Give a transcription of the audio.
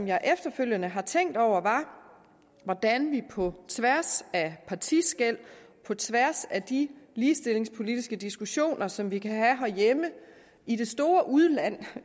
jeg efterfølgende har tænkt over er hvordan vi på tværs af partiskel på tværs af de ligestillingspolitiske diskussioner som vi kan have herhjemme i det store udland